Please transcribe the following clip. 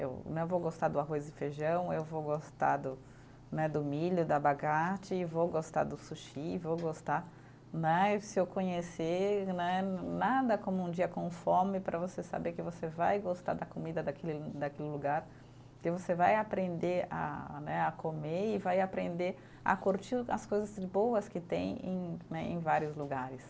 Eu né, eu vou gostar do arroz e feijão, eu vou gostar do né, do milho, do abacate, vou gostar do sushi, vou gostar né. E se eu conhecer né, nada como um dia com fome para você saber que você vai gostar da comida daquele daquele lugar, que você vai aprender a né, a comer e vai aprender a curtir as coisas boas que tem em né, em vários lugares.